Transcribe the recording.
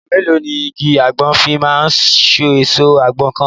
Ìgbà mélòó ni igi àgbọn fi máa so èso àgbọn kan?